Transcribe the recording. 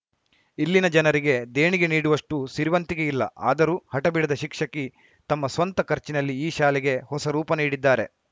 ಇಲ್ಲಿನ ಜನರಿಗೆ ದೇಣಿಗೆ ನೀಡುವಷ್ಟುಸಿರಿವಂತಿಕೆ ಇಲ್ಲ ಆದರೂ ಹಠ ಬಿಡದ ಶಿಕ್ಷಕಿ ತಮ್ಮ ಸ್ವಂತ ಖರ್ಚಿನಲ್ಲಿ ಈ ಶಾಲೆಗೆ ಹೊಸ ರೂಪ ನೀಡಿದ್ದಾರೆ